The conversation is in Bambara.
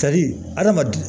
adamaden